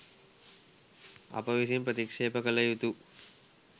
අප විසින් ප්‍රතික්ෂේප කළ යුතු